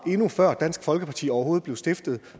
før dansk folkeparti overhovedet blev stiftet